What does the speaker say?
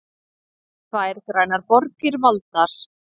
Tvær grænar borgir valdar